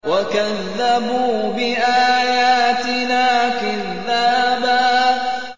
وَكَذَّبُوا بِآيَاتِنَا كِذَّابًا